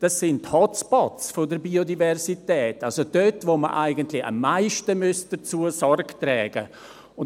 Es sind Hot Spots der Biodiversität, also dort, wo wir eigentlich am meisten dazu Sorge tragen müssten.